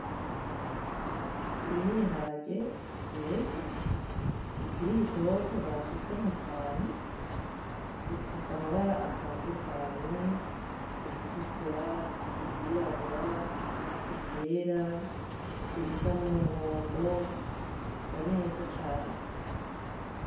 Ibi nibihagare vyeze bikiri bitoto basutse mukantu. Bifise amabara atandukanye; ibitukura, ivyirabura, ivyera, ibisa numuhondo, bisa neza cane.